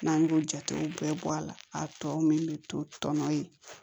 N'an y'o jatew bɛɛ bɔ a la a tɔ min bɛ to tɔnɔ ye